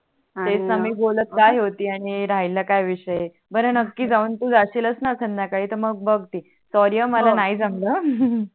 तेच णा मी बोलत काय होती आणि राहील काय विषय बर नक्की जाऊन तु जासीलच णा संध्याकाळी मग बग ते SORRY हा मला नाही जमल